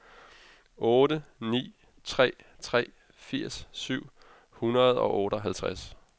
otte ni tre tre firs syv hundrede og otteoghalvtreds